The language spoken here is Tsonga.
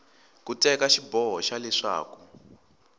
ku teka xiboho xa leswaku